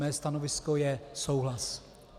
Mé stanovisko je souhlas.